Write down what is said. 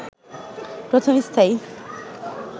প্রথম স্থায়ী